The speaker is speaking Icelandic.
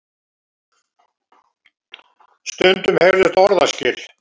Stundum heyrðust orðaskil.